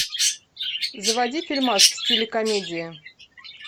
заводи фильмас в стиле комедии